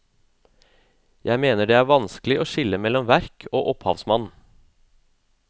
Jeg mener at det er vanskelig å skille mellom verk og opphavsmann.